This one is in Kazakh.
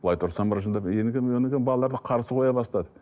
былай тұрсам ыржындап одан келе балаларды қарсы қоя бастады